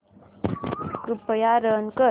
कृपया रन कर